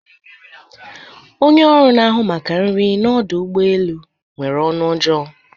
Onye oru na ahu maka nri na Ọdụ ụgbọ elu nwere onu ojoo